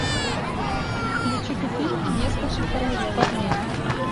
включи ка фильм несколько хороших парней